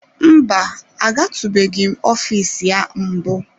Mba, agatụbeghị m ofiisi ya mbụ.